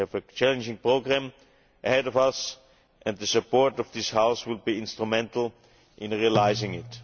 We have a challenging programme ahead of us and the support of this House will be instrumental in completing it.